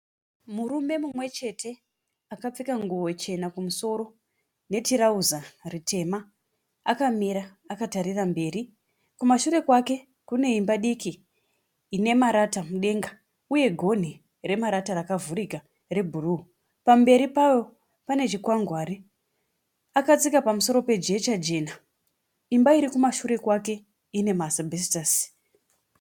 Murume mumwe chete akapfeka nguwo chena kumusoro ne tirauza ritema akamira akatarira mberi. Kumashure kwake kune imba diki ine marata mudenga. Uye gonhi remarata rakavhurika rebhuruu. Pamberi pawo pane chikwangwari. Akatsika pamusoro pejecha jena. Imba iri kumashure kwake ine ma asibhesitasi.